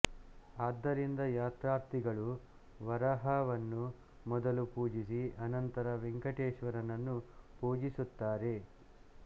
ಆದ್ದರಿಂದ ಯಾತ್ರಾರ್ಥಿಗಳು ವರಾಹವನ್ನು ಮೊದಲು ಪೂಜಿಸಿ ಅನಂತರ ವೆಂಕಟೇಶ್ವರನನ್ನು ಪೂಜಿಸುತ್ತಾರೆ